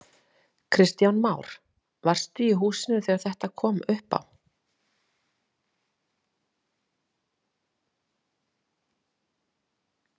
Kristján Már: Varstu í húsinu þegar þetta kom upp á?